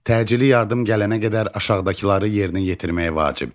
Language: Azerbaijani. Təcili yardım gələnə qədər aşağıdakıları yerinə yetirmək vacibdir.